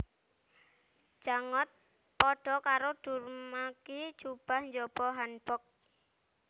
Jangot padha karo durumagi jubah njaba hanbok